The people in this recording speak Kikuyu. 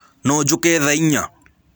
No njũke tha ĩnya.